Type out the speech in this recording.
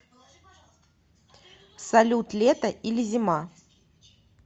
салют лето или зима